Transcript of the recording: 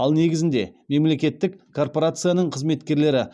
ал негізінде мемлекеттік корпорацияның қызметкерлері